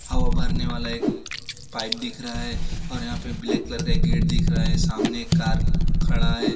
हवा भरने वाला एक पाइप दिख रहा है और यहां पे ब्लैक कलर का गेट दिख रहा है सामने कार खड़ा है।